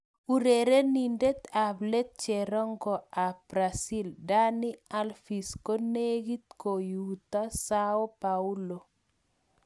Urerenindet ab let cherongo ab Brazil Dani Alves konegit kouito Sao Paulo.